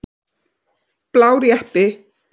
Blár jeppi.